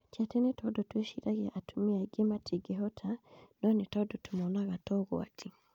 Ti atĩ nĩ tondũ twĩciragia atumia angĩ matingĩhota, no nĩ tondũ tũmonaga ta ũgwati